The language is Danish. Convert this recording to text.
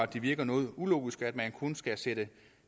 det virker noget ulogisk at man kun skal sætte